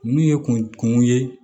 N'u ye kungo ye